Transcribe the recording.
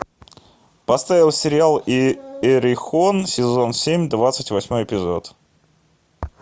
поставь сериал иерихон сезон семь двадцать восьмой эпизод